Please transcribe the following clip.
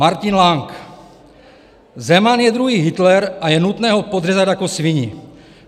Martin Lang: "Zeman je druhý Hitler a je nutné ho podřezat jako svini.